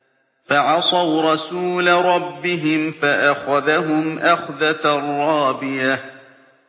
فَعَصَوْا رَسُولَ رَبِّهِمْ فَأَخَذَهُمْ أَخْذَةً رَّابِيَةً